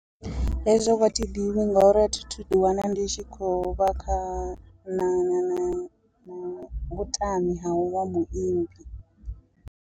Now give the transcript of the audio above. Hezwo vho a thi ḓivhi ngauri a thi thu ḓi wana ndi tshi khou vha kha na na na vhutami ha uvha muimbi.